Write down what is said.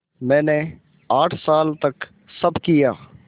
मैंने आठ साल तक सब किया